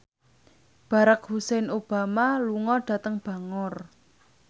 Barack Hussein Obama lunga dhateng Bangor